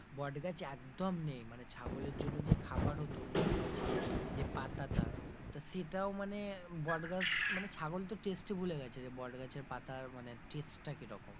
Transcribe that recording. বট গাছ একদম নেই মানে ছাগলের জন্য যে খাবার হতো বট গাছের যে পাতাটা তা সেটাও মানে বটগাছ মানে ছাগল তো taste ই ভুলে গেছে যে বট গাছের পাতার মানে taste টা কিরকম,